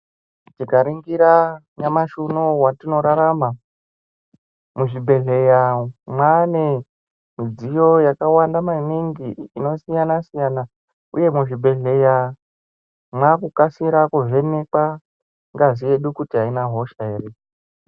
Tika ningira nyamashi unowu watino rarama mu zvibhehleya mwane midziyo yakawanda maningi ino siyana siyana uye muzvi bhedhleya mwaku kasira ku vhenekwa ngazi yedu aina hosha ere.